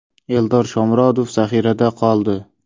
Eldor Shomurodov zaxirada qoldi.